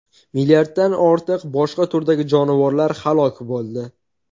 Milliarddan ortiq boshqa turdagi jonivorlar halok bo‘ldi.